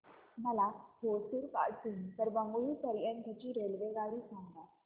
मला होसुर पासून तर बंगळुरू पर्यंत ची रेल्वेगाडी सांगा